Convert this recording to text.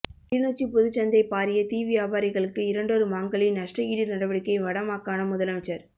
கிளிநொச்சி பொதுச் சந்தை பாரிய தீ வியாபாரி களுக்கு இரண்டொரு மாங்களில் நஷ்ட ஈடு நடவடிக்கை வட மாகாணம் முதலமைச்சர்